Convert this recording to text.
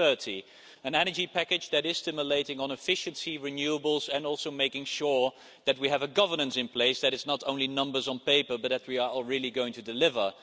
2030. An energy package that is stimulating on efficiency, renewables and also making sure that we have a governance in place, that it's not only numbers on paper but that we are really going to deliver.